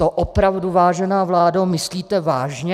To opravdu, vážená vládo, myslíte vážně?